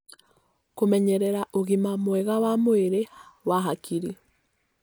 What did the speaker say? Kũmenyerera ũgima mwega wa mwĩrĩ wa hakiri